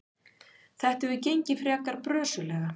Þetta hefur gengið frekar brösuglega.